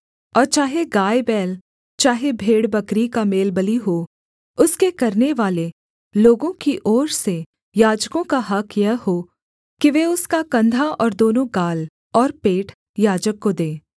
और चाहे गायबैल चाहे भेड़बकरी का मेलबलि हो उसके करनेवाले लोगों की ओर से याजकों का हक़ यह हो कि वे उसका कंधा और दोनों गाल और पेट याजक को दें